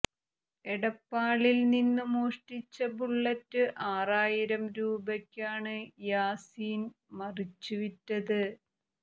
എടപ്പാളിൽ നിന്നു മോഷ്ടിച്ച ബുള്ളറ്റ് ആറായിരം രൂപക്കാണ് യാസീൻ മറിച്ചു വിറ്റത്